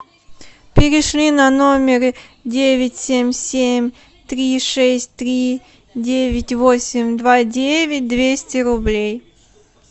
перешли на номер девять семь семь три шесть три девять восемь два девять двести рублей